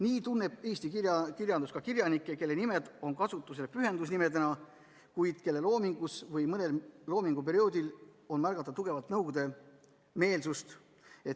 Näiteks tunneb eesti kirjandus kirjanikke, kelle nimed on kasutusel pühendusnimedena, kuid kelle loomingus võib mõnel perioodil märgata tugevat nõukogudemeelsust.